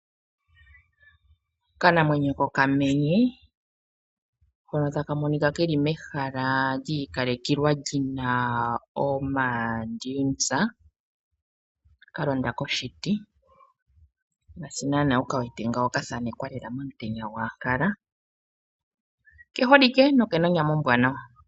Okanamwenyo kokamenye, hono taka monika ke li mehala lyi ikalekelwa li na oodaina ka londa koshiti. Ngaashi nana wu ka wete ka thenekwa lela omutenya gwaAnkala. Oke holike noke na onyama ombwanawa.